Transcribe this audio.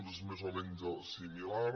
doncs és més o menys similar